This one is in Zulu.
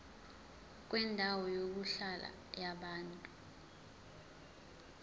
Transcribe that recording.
kwendawo yokuhlala yabantu